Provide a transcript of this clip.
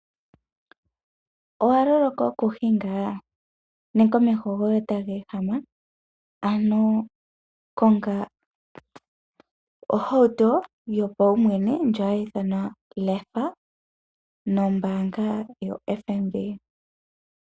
Owaloloka okuhinga nenge omeho goye taga ehama? Ano konga ohauto yopaumwene ndjoka hayi ithanwa lefa nombaanga yo FNB.